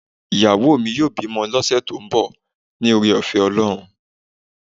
iyawo mí yóò bimò ni ọṣẹ to n bò, ní oré ofé olohún